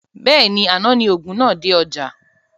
Bẹ́ẹ̀ni, àná ni òògùn náà dé ọjá